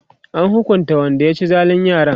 an hukunta Wanda ya ci zalin yaran?